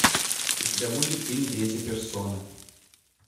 у тебя будет фильм третья персона